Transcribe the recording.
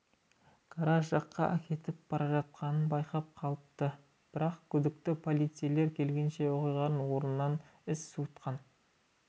гараж жаққа әкетіп бара жатқанын байқап қалыпты бірақ күдікті полицейлер келгенше оқиғаға орнынан із суытқан